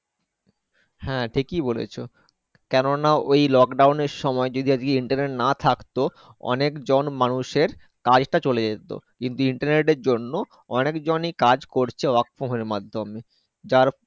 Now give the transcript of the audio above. হ্যাঁ ঠিকই বলেছো কেননা ওই Lockdown এর সময় যদি Internet না থাকতো অনেক জন মানুষের কাজ তা চলে যেত কিন্তু Internet এর জন্য অনেকজন এ কাজ করছে Work from home এর মাধ্যমে